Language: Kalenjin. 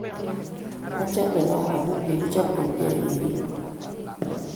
Achame gaa amu kigichop komnyei ageribe